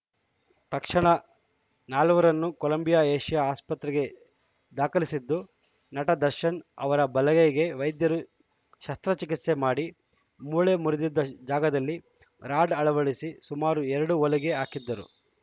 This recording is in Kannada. ತಕ್ಷಣ ನಾಲ್ವರನ್ನೂ ಕೊಲಂಬಿಯಾ ಏಷ್ಯಾ ಆಸ್ಪತ್ರೆಗೆ ದಾಖಲಿಸಿದ್ದು ನಟ ದರ್ಶನ್‌ ಅವರ ಬಲಗೈಗೆ ವೈದ್ಯರು ಶಸ್ತ್ರಚಿಕಿತ್ಸೆ ಮಾಡಿ ಮೂಳೆ ಮುರಿದಿದ್ದ ಜಾಗದಲ್ಲಿ ರಾಡ್‌ ಅಳವಡಿಸಿ ಸುಮಾರು ಎರಡು ಹೊಲಿಗೆ ಹಾಕಿದ್ದರು